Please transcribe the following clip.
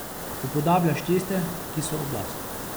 Upodabljaš tiste, ki so oblast.